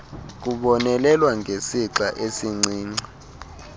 kubonelelwa ngesixa esincinci